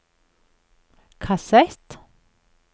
kassett